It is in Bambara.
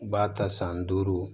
U b'a ta san duuru